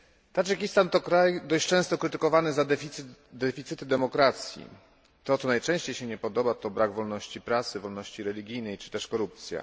Tadżykistan to kraj dość często krytykowany za deficyt demokracji. To, co najczęściej się nie podoba to brak wolności prasy, wolności religijnej, czy też korupcja.